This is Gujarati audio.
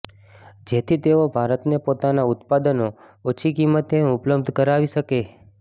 જેથી તેઓ ભારતને પોતાના ઉત્પાદનો ઓછી કિંમતે ઉપલબ્ધ કરાવી શકે